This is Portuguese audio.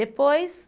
Depois...